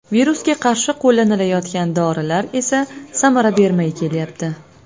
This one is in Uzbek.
Virusga qarshi qo‘llanilayotgan dorilar esa samara bermay kelyapti.